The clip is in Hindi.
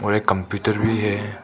और एक कंप्यूटर भी है।